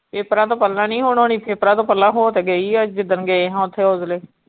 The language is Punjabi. papers ਤੋਂ ਪਹਿਲਾਂ ਨਹੀਂ ਹੁਣ ਹੋਣੀ papers ਤੋਂ ਪਹਿਲਾਂ ਹੋ ਤੇ ਗਈ ਆ ਜਿੱਦਣ ਗਏ ਹਾਂ ਓਥੇ .